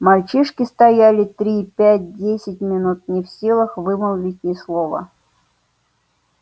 мальчишки стояли три пять десять минут не в силах вымолвить ни слова